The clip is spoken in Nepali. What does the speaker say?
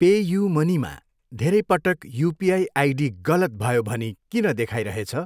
पेयु मनीमा धेरै पटक युपिआई आइडी गलत भयो भनी किन देखाइरहेछ?